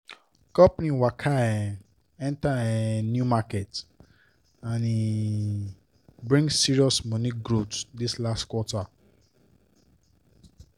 company waka um enter um new market and e um bring serious money growth this last quarter